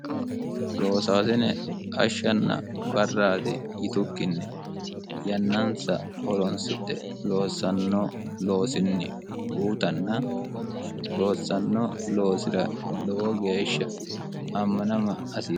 loosaasine hashshanna barraati yitukkinni yannansa horonsidhe loossannoo loosinni guutanna loossanno loosira lowo geeshsha ammanama asi